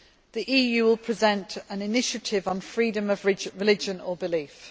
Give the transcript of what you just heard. The EU will present an initiative on freedom of religion or belief.